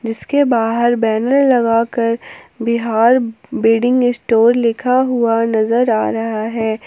जिसके बाहर बैनर लगाकर बिहार वेडिंग स्टोर लिखा हुआ नजर आ रहा है।